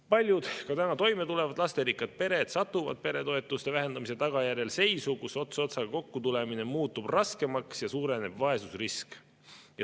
Paljud ka täna toime tulevad lasterikkad pered satuvad peretoetuste vähendamise tagajärjel seisu, kus ots otsaga kokku tulemine muutub raskemaks ja suureneb vaesusrisk.